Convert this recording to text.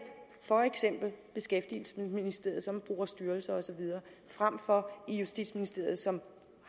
for eksempel beskæftigelsesministeriet som bruger styrelser osv frem for i justitsministeriet som